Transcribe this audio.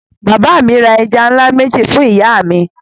Bàbá mi ra ẹja ńlá méjì fún ìyá mi.